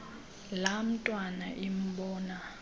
laa ntwana imbona